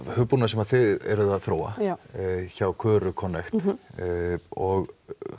hugbúnað sem þið eruð að þróa hjá Köru Connect og